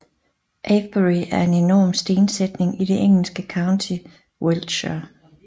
Avebury er en enorm stensætning i det engelske county Wiltshire